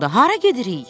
Hara gedirik?